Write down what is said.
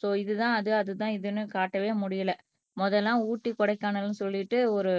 so இதுதான் அது அதுதான் இதுன்னு காட்டவே முடியலை முதல் எல்லாம் ஊட்டி கொடைக்கானல்ன்னு சொல்லிட்டு ஒரு